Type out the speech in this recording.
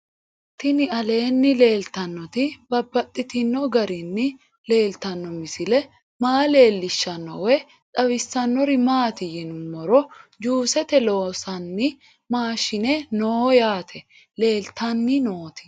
Tinni aleenni leelittannotti babaxxittinno garinni leelittanno misile maa leelishshanno woy xawisannori maattiya yinummoro juussette loosanni maashshinne noo yaatte leelittanni nootti